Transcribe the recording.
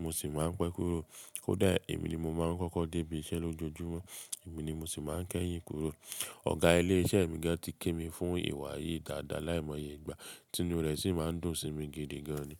mo sì máa ń pẹ́ kúrò. Kódà èmi ni mo máa ń kọ́kọ́ dé ibi iṣẹ́ lójoojúmọ́, èmi ni mo sì máa ń kẹ́yìn kúrò. Ọ̀gá ilé iṣẹ́ mi gan tí kí mi fún ìwà yìí dáadáa láì mọye ìgbà, tí inú rẹ̀ sì ma ń dùn sí mi gidi gan ni.